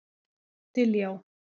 Diljá